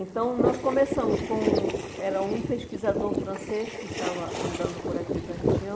Então, nós começamos com... Era um pesquisador francês que estava andando por aqui pela região.